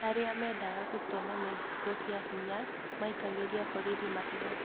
Arĩa mendaga gũtonya Mexico kĩahinya maikagĩria borithi mahiga